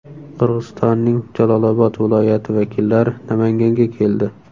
Qirg‘izistonning Jalolobod viloyati vakillari Namanganga keldi.